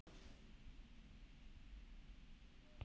Þau eru fá.